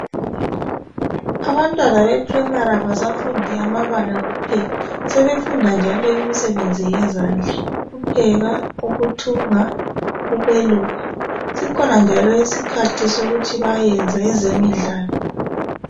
Abantwana beprimary kabasafundi amabala kuphela sebefunda njalo imisebenzi yezandla ukupheka ukuthunga ukweluka kukhona njalo isikhathi sokuthi bayayenza ezemidlalo